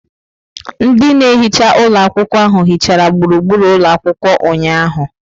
Ndị na-ehicha ụlọ akwụkwọ ahụ hichara gburugburu ụlọ akwụkwọ ụnyahụ.